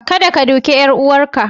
Kadda ka duke 'yar uwarka!